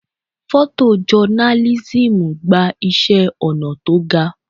Photo journalism gba iṣẹ́ ọnà tó ga.